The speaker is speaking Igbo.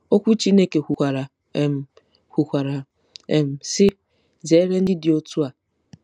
Okwu Chineke kwukwara, um kwukwara, um sị, “Zere ndị dị otú a .”